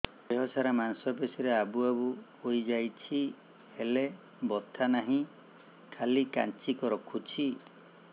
ଦେହ ସାରା ମାଂସ ପେଷି ରେ ଆବୁ ଆବୁ ହୋଇଯାଇଛି ହେଲେ ବଥା ନାହିଁ ଖାଲି କାଞ୍ଚି ରଖୁଛି